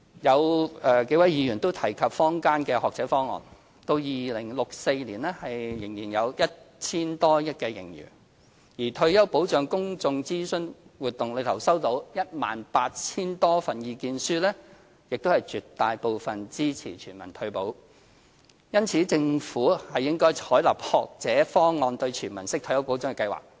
有數位議員提及坊間的"學者方案"到2064年仍有約 1,000 多億元盈餘，而退休保障公眾諮詢活動期間收到的 18,000 多份意見書中，絕大部分都支持全民退保，因此政府應採納"學者方案"等"全民式"退休保障計劃。